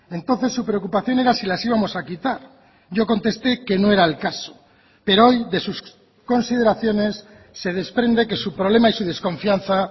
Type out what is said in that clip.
entonces su preocupación era si las íbamos a quitar yo contesté que no era el caso pero hoy de sus consideraciones se desprende que su problema y su desconfianza